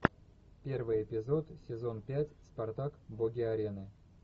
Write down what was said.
первый эпизод сезон пять спартак боги арены